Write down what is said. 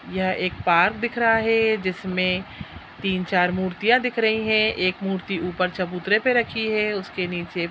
यह एक पार्क दिख रहा है जिसमें तीन- चार मूर्तियाँ दिख रही है एक मूर्ति ऊपर चबूतरे पर रखी है उसके नीचे--